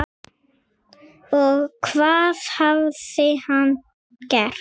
Og hvað hafði hann gert?